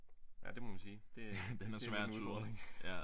Ja det må man sige det det er lidt en udfordring